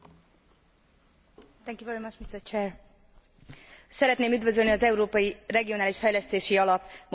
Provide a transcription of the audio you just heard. Szeretném üdvözölni az Európai Regionális Fejlesztési Alap módosításait és gratulálni van Nistelrooij képviselőtársamnak a jelentéséhez.